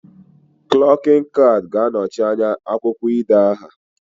Klokin cad ga anochi anya akwukwo ide aha